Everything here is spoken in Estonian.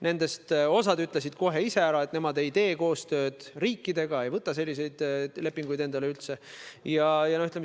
Nendest osa ütles kohe ära, nemad riikidega koostööd ei tee ja selliseid lepinguid endale ei võta.